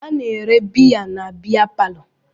A na-ere biya na-biya parlo.